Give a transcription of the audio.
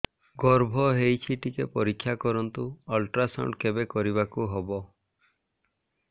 ଗର୍ଭ ହେଇଚି ଟିକେ ପରିକ୍ଷା କରନ୍ତୁ ଅଲଟ୍ରାସାଉଣ୍ଡ କେବେ କରିବାକୁ ହବ